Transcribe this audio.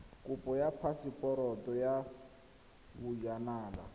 kopo ya phaseporoto ya bojanala